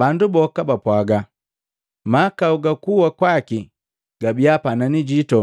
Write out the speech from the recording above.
Bandu boka bapwaga, “Mahakau ga kuwa kwaki gabiya panani jitu